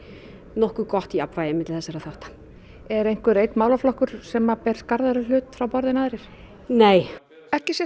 nokkuð gott jafnvægi milli þessarra þátta er einhver einn málaflokkur sem ber skarðari hlut frá borði en aðrir nei ekki sér